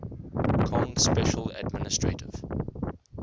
kong special administrative